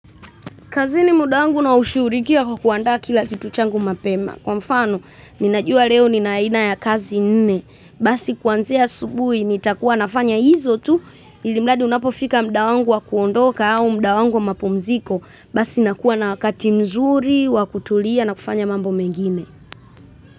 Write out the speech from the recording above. Kazini mda wangu naushuhurikia kwa kuandaa kila kitu changu mapema. Kwa mfano, ninajua leo nina aina ya kazi nne. Basi kuanzia asubuhi nitakuwa nafanya hizo tu, ili mradi unapofika mda wangu wa kuondoka au mda wangu wa kupumzika, basi nakuwa na wakati mzuri, wa kutulia na kufanya mambo mengine.